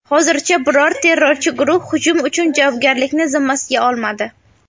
Hozircha biror terrorchi guruh hujum uchun javobgarlikni zimmasiga olmadi.